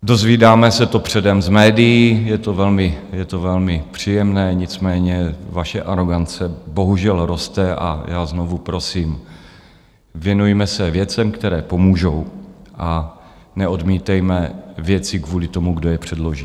Dozvídáme se to předem z médií, je to velmi příjemné, nicméně vaše arogance bohužel roste a já znovu prosím, věnujme se věcem, které pomůžou, a neodmítejme věci kvůli tomu, kdo je předloží.